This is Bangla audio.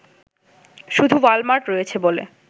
শুধু ওয়ালমার্ট রয়েছে বলে